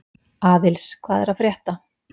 Aðils, hvað er að frétta?